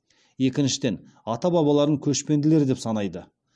екіншіден ата бабаларын көшпенділер деп санайды